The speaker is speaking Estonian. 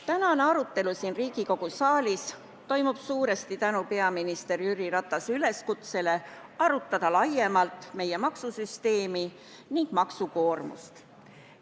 Tänane arutelu siin Riigikogu saalis toimub suuresti tänu peaminister Jüri Ratase üleskutsele arutada laiemalt meie maksusüsteemi ja maksukoormust.